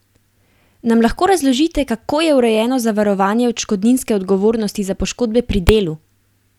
Nam lahko razložite, kako je urejeno zavarovanje odškodninske odgovornosti za poškodbe pri delu?